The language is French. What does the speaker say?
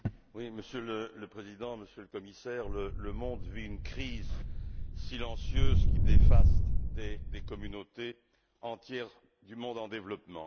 Monsieur le Président, Monsieur le Commissaire, le monde vit une crise silencieuse qui dévaste des communautés entières du monde en développement.